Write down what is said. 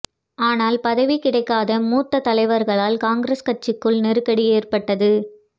ஆனால் பதவி கிடைக்காத மூத்த தலைவர்களால் காங்கிரஸ் கட்சிக்குள் நெருக்கடி ஏற்பட்டது